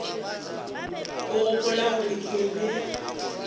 o gopola gore ke be